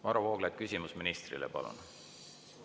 Varro Vooglaid, küsimus ministrile, palun!